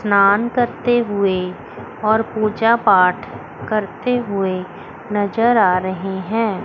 स्नान करते हुए और पूजा पाठ करते हुए नजर आ रहे हैं।